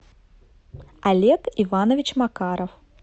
олег иванович макаров